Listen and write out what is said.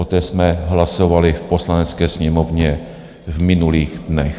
O té jsme hlasovali v Poslanecké sněmovně v minulých dnech.